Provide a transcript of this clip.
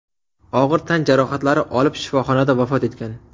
og‘ir tan jarohatlari olib, shifoxonada vafot etgan.